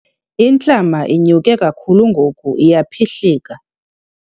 Intlama inyuke kakhulu ngoku iyaphihlika.